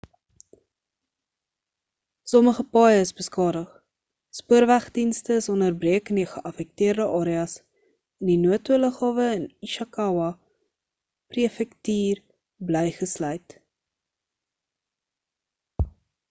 sommige paaie is beskadig spoorweg dienste is onderbreek in die geaffekteerde areas en die noto lughawe in ishakawa prefektuur bly gesluit